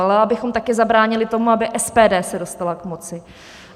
Ale abychom taky zabránili tomu, aby SPD se dostala k moci.